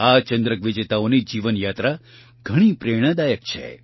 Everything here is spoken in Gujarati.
આ ચંદ્રક વિજેતાઓની જીવનયાત્રા ઘણી પ્રેરણાદાયક છે